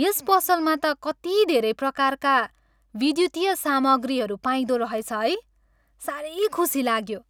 यस पसलमा त कति धेरै प्रकारका विद्युतीय सामग्रीहरू पाइँदो रहेछ है? साह्रै खुसी लाग्यो।